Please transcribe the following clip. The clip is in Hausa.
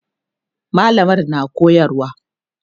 mallamar na koyarwa